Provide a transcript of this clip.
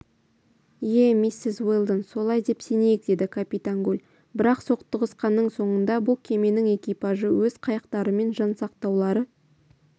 ие миссис уэлдон солай деп сенейік деді капитан гульбірақ соқтығысқанның соңында бұл кеменің экипажы өз қайықтарымен жан сақтаулары